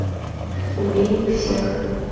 убей их всех